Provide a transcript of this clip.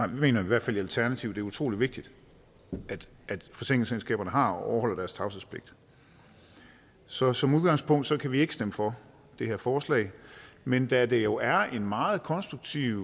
vi i hvert fald i alternativet er det utrolig vigtigt at forsikringsselskaberne har og overholder deres tavshedspligt så som udgangspunkt kan vi ikke stemme for det her forslag men da der jo er en meget konstruktiv